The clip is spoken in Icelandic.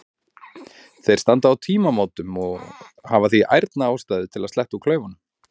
Þeir standa á tímamótum og hafa því ærna ástæðu til að sletta úr klaufunum.